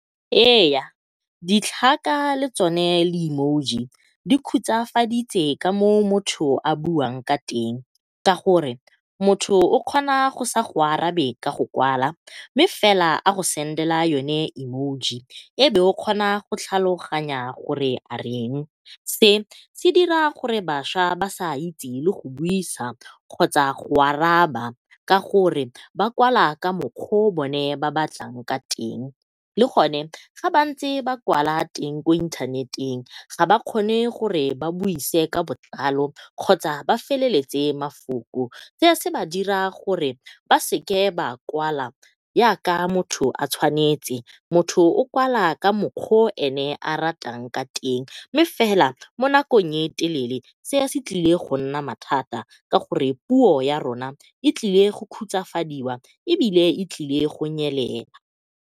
Eya, ditlhaka le tsone di-emoji di khutsafaditse ka moo motho a buang ka teng. Ka gore motho o kgona go sa go arabe ka go kwala mme fela a go send-ela yone emoji e be o kgona go tlhaloganya gore areng. Se se dira gore bašwa ba sa itse le go buisa kgotsa go araba ka gore ba kwala ka mokgwa o bone ba batlang ka teng le gone ga ba ntse ba kwala teng ko inthaneteng ga ba kgone gore ba buise ka botlalo kgotsa ba feleletse mafoko. Se se ba dira gore ba sa kwala yaka motho a tshwanetse. Motho o kwala ka mokgwa o ene a ratang ka teng, mme fela mo nakong e telele se se tlile go nna mathata ka gonne puo ya rona e tlile go khutsafadiwa ebile e tlile go nyelela.